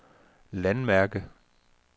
landmærke